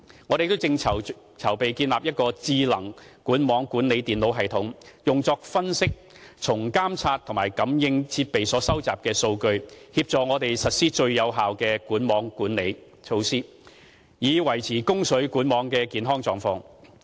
我們亦正籌備建立一個智能管網管理電腦系統，用作分析從監測和感應設備所收集的數據，協助我們實施最有效的管網管理措施，以維持供水管網的健康狀況。